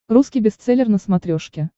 русский бестселлер на смотрешке